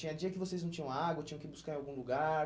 Tinha dia que vocês não tinham água, tinham que ir buscar em algum lugar?